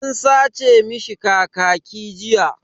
An sace mishi kakaki jiya.